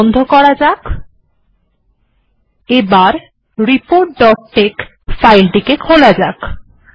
এটিকে বন্ধ করা যাক এবং রিপোর্ট ডট টেক্স ফাইলটিকে খোলা যাক